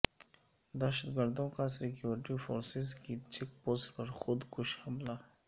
دہشتگردوں کا security forces کی check post پر خود کش حملہ